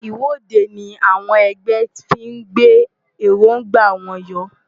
Ìwọ́de ni àwọn ẹgbẹ́ fí ń gbé èróńgbà wọn yọ.